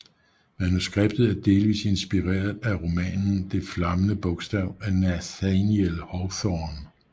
Manuskriptet er delvist inspireret romanen Det flammende bogstav af Nathaniel Hawthorne